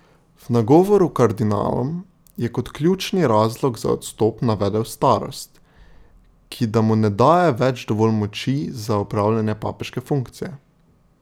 V nagovoru kardinalom je kot ključni razlog za odstop navedel starost, ki da mu ne daje več dovolj moči za opravljanje papeške funkcije.